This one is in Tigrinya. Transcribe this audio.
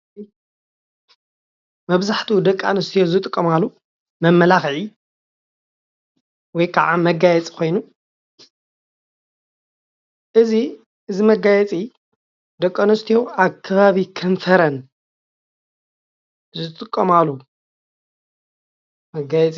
መብዛሕትኡ ደቂ አንስትዮ ዝጥቀማሉ መማላክዒ ወይ ከዓ መጋየፂ ኮይኑ እዚ እዚ መጋየፂ ደቂ ኣንስትዩ ኣብ ከባቢ ከንፈረን ዝጥቀማሉ መጋየፂ